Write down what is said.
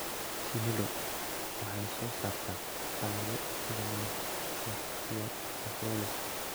Shinnidu waxay soo saartaa alaabo sida malab, wax, iyo propolis.